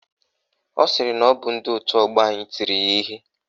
Ọ sịrị na ọ bụ ndị òtù ọgbọ anyị tiri ya ihe.